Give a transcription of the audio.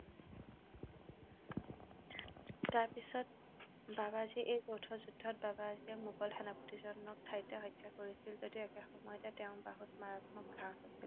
তাৰ পিচত বাবাজীয়ে এই দৈত যুদ্ধত বাবাজীয়ে এই মোগল সেনাপতিজনক ঠাইতে হত্যা কৰিছিল যদিও একে সময়তে তেওঁৰ বাহুত মাৰাত্মক ঘা হৈছিল